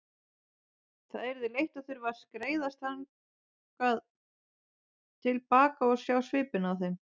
Það yrði leitt að þurfa að skreiðast þannig til baka og sjá svipinn á þeim.